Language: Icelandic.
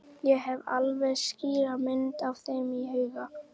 Ég hef alveg skýra mynd af þeim í huganum.